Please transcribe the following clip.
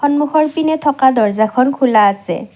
সন্মুখৰপিনে থকা দৰ্জাখন খোলা আছে।